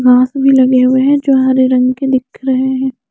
घास भी लगे हुए हैं जो हरे रंग के दिख रहे हैं।